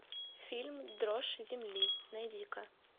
фильм дрожь земли найди ка